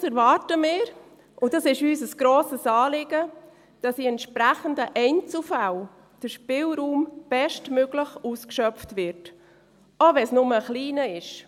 Allerdings erwarten wir – das ist uns ein grosses Anliegen –, dass in entsprechenden Einzelfällen der Spielraum bestmöglich ausgeschöpft wird, auch wenn es nur ein kleiner ist.